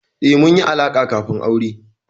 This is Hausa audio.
Eh, mun yi alaƙa kafin aure.